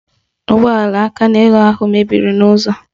Ụgbọala akaneelu ahụ mebiri n'ụzọ